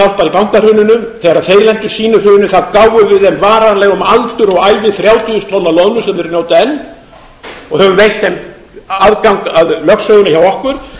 en lentu í sínu hruni gáfum við þeim varanlega um aldur og ævi þrjátíu þúsund tonn af loðnu sem þeir njóta enn og höfum veitt þeim aðgang að lögsögunni hjá okkur